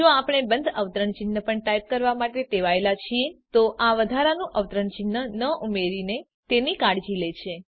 જો આપણે બંધ અવતરણ ચિહ્ન પણ ટાઈપ કરવા માટે ટેવાયેલા છીએ તો આ વધારાનું અવતરણ ચિહ્ન ન ઉમેરીને તેની કાળજી લે છે